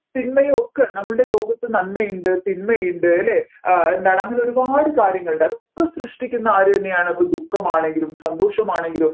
തിന്മയ്ക്കെ നമ്മൾടെ ലോകത്ത് നന്മയുണ്ട് തിന്മയുണ്ട് അല്ലെ എന്താ അങ്ങനെ ഒരുപാട് കാര്യങ്ങളുണ്ട് അതൊക്കെ സൃഷ്ടിക്കുന്നത് ആരു തന്നെയാണ് ഇപ്പോ ദുഃഖമാണെങ്കിലും സന്തോഷമാണെങ്കിലും